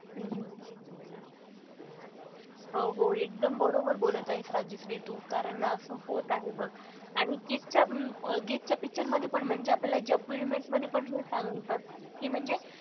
हम्म हो हो एकदम बरोबर बोलत आहेस राजश्री तू कारण असं होत आहे बघ आणि गीत च्या गीतच्या picture मध्ये पण म्हणजे आपल्याला जब वी मेट मध्ये पण हे सांगतात कि म्हणजे,